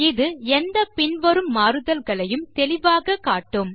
இது எந்த பின்வரும் மாறுதல்களையும் தெளிவாக காட்டும்